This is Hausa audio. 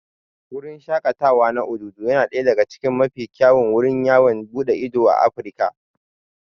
Wurin shaƙatawa na Obudu yana daya daga cikin mafi kyawun wurin yawon buɗe ido a Afirka.